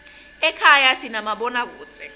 ekhaya sinamabonakudze